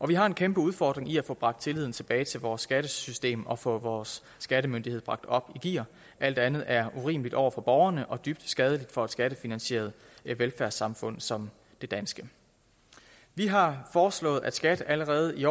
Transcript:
vi har en kæmpe udfordring i at få bragt tilliden tilbage til vores skattesystem og få vores skattemyndighed bragt op i gear alt andet er urimeligt over for borgerne og dybt skadeligt for et skattefinansieret velfærdssamfund som det danske vi har foreslået at skat allerede i